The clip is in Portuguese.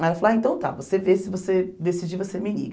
Ela falou, ah, então tá, você vê, se você decidir, você me liga.